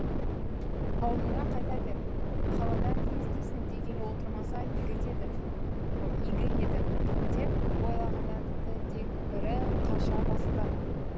ауылыңа қайта бер қаладан не іздейсің дегелі отырмаса игі еді деп ойлағанда тіпті дегбірі қаша бастаған